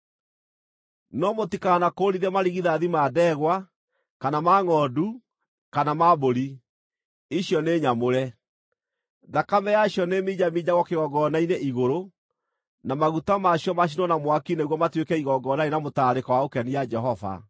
“No mũtikanakũũrithie marigithathi ma ndegwa, kana ma ngʼondu, kana ma mbũri; icio nĩ nyamũre. Thakame yacio nĩĩminjaminjagwo kĩgongona-inĩ igũrũ, na maguta ma cio macinwo na mwaki nĩguo matuĩke igongona rĩ na mũtararĩko wa gũkenia Jehova.